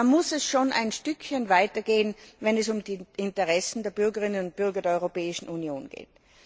Da muss es schon ein Stückchen weitergehen, wenn es um die Interessen der Bürgerinnen und Bürger der Europäischen Union geht.